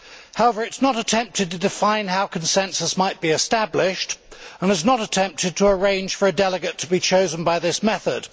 However, it has not attempted to define how consensus might be established and has not attempted to arrange for a delegate to be chosen by this method.